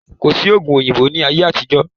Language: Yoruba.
Kò sí oògùn òyìnbó ní ayé àtijó.